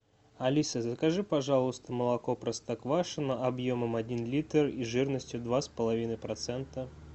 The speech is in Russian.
алиса закажи пожалуйста молоко простоквашино объемом один литр и жирностью два с половиной процента